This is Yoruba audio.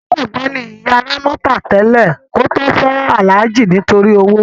Onígbàgbọ́ ni ìyá Rámọ́tà tẹ́lẹ̀ kí ó tó fẹ́ Alhaji nítorí owó.